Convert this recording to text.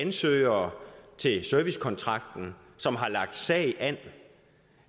ansøgere til servicekontrakten som har lagt sag an